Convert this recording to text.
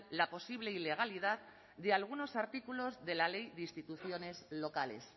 la posible ilegalidad de algunos artículos de la ley de instituciones locales